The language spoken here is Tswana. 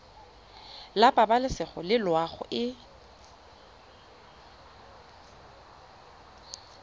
la pabalesego le loago e